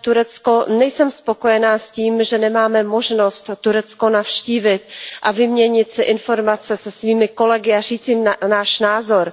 Turecko nejsem spokojená s tím, že nemáme možnost Turecko navštívit a vyměnit si informace se svými kolegy a říci jim náš názor.